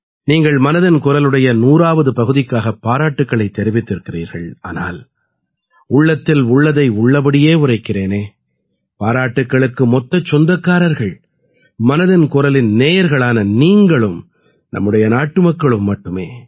நீங்கள் மனதின் குரலுடைய 100ஆவது பகுதிக்காக பாராட்டுக்களைத் தெரிவித்திருக்கிறீர்கள் ஆனால் உள்ளத்தில் உள்ளதை உள்ளபடியே உரைக்கிறேனே பாராட்டுக்களுக்கு மொத்தச் சொந்தக்காரர்கள் மனதின் குரலின் நேயர்களான நீங்களும் நம்முடைய நாட்டு மக்களும் மட்டுமே